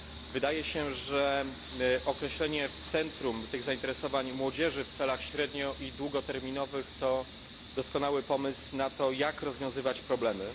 Wydaje się, że umieszczenie w centrum tych zainteresowań młodzieży w celach średnio i długoterminowych to doskonały pomysł na to, jak rozwiązywać problemy.